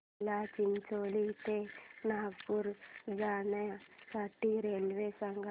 मला चिचोली ते नागपूर जाण्या साठी रेल्वे सांगा